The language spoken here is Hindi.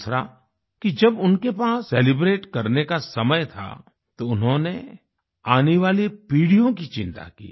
दूसरा कि जब उनके पास सेलिब्रेट करने का समय था तो उन्होंने आने वाली पीढ़ियों की चिंता की